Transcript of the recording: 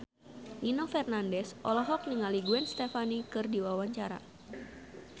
Nino Fernandez olohok ningali Gwen Stefani keur diwawancara